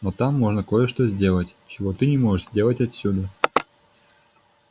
но там можно кое-что сделать чего ты не можешь сделать отсюда